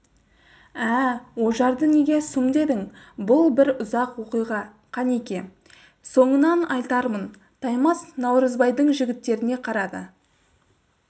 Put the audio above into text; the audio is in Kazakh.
ә-ә ожарды неге сұм дедің бұл бір ұзақ оқиға кенеке соңынан айтармын таймас наурызбайдың жігіттеріне қарады